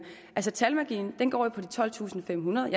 altså talmagien går på de tolvtusinde og femhundrede